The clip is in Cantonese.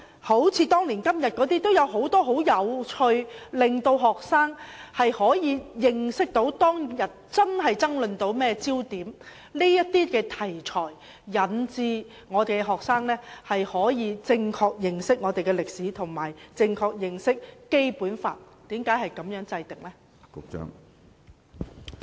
例如"當年今日"有很多很有趣的片段，令到學生可以認識當天發生了甚麼事件，大家爭論的焦點是甚麼，這些題材能夠令學生可以正確認識本港的歷史，以及《基本法》為何是如此制定。